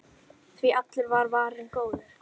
Því allur er varinn góður.